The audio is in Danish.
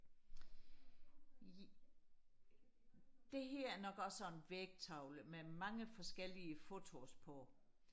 det her er nok også sådan en vægtavle med mange forskellige fotos på